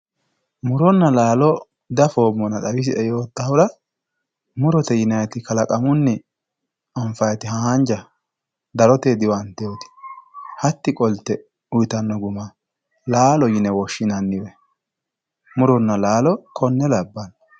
muronna laalo dafoommona xawisie yoottahura murote yinanniti kalaqamunni anfannite haanja daro diwantinoti hatti qolte uyiitanno guma laalo yine woshshinanniwe muronna laalo konne labbanno.